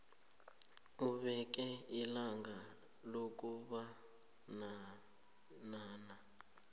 ubeke ilanga lokubonana